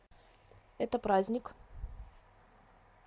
это праздник